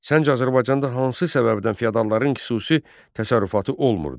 Səncə, Azərbaycanda hansı səbəbdən feodalların xüsusi təsərrüfatı olmurdu?